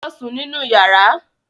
Lọ sùn nínú yàrá.